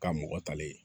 Ka mɔgɔ talen